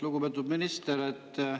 Lugupeetud minister!